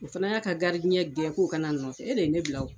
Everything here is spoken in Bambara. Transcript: O fana y'a ka gɛn k'o ka na n nɔfɛ e de ye ne bila